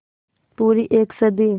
पूरी एक सदी